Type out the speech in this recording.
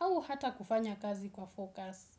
au hata kufanya kazi kwa focus.